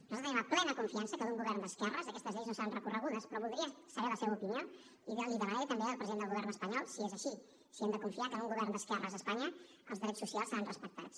nosaltres tenim la plena confiança que amb un govern d’esquerres aquestes lleis no seran recorregudes però voldria saber la seva opinió i li demanaré també al president del govern espanyol si és així si hem de confiar que en un govern d’esquerres a espanya els drets socials seran respectats